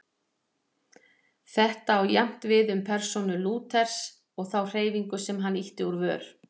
Þetta á jafnt við um persónu Lúthers og þá hreyfingu sem hann ýtti úr vör.